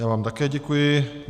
Já vám také děkuji.